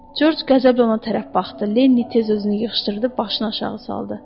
Corc qəzəblə ona tərəf baxdı, Linni tez özünü yığışdırdı, başını aşağı saldı.